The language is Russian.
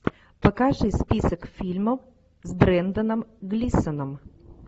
покажи список фильмов с бренданом глисоном